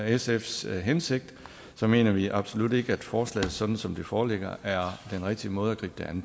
sfs hensigt så mener vi absolut ikke at forslaget sådan som det foreligger er den rigtige måde at gribe